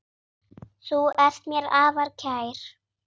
Þú ert mér afar kær.